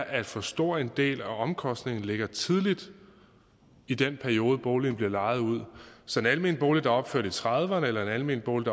at for stor en del af omkostningerne ligger tidligt i den periode boligen bliver lejet ud så en almen bolig der er opført i nitten trediverne eller en almen bolig